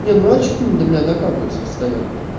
не ну а что она до меня докапывается постоянно